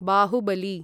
Baahubali